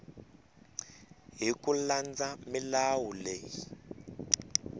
hi ku landza milawu leyi